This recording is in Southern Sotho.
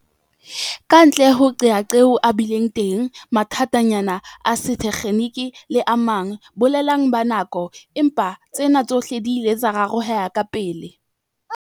Kantle ho qeaqeo, a bile teng mathatanyana a setekgeniki le a mang boleleng ba nako, empa tsena tsohle di ile tsa rarolleha kapele.